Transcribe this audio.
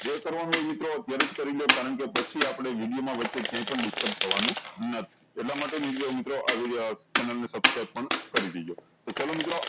જે કરવાનું હોય મિત્રો અત્યારેં જ કરી લો કારણ કે પછી આપળે વિડીયો મા આપળે ક્યાય પણ disturb થવાનું નથી એટલ માટે વિડીયો મિત્રો આ વિડીઓ channel ને subscribe પણ કરી દેજો તો ચાલો મિત્રો